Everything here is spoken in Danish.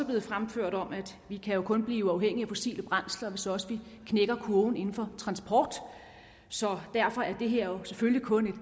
blevet fremført om at vi jo kun kan blive uafhængige af fossile brændsler hvis også vi knækker kurven inden for transport så derfor er det her jo selvfølgelig kun